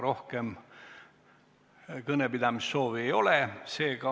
Rohkem kõnepidamise soovi ei ole.